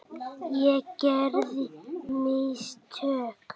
Ég gerði mistök.